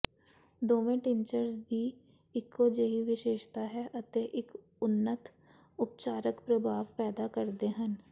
ਦੋਵੇਂ ਟਿਨਚਰਸ ਦੀ ਇਕੋ ਜਿਹੀ ਵਿਸ਼ੇਸ਼ਤਾ ਹੈ ਅਤੇ ਇੱਕ ਉੱਨਤ ਉਪਚਾਰਕ ਪ੍ਰਭਾਵ ਪੈਦਾ ਕਰਦੇ ਹਨ